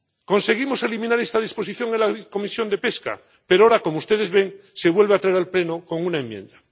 Conseguimos eliminar esta disposición en la Comisión de Pesca, pero ahora —como ustedes ven— se vuelve a traer al Pleno con una enmienda.